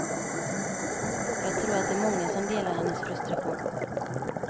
Jag tror att det är många som delar hennes frustration.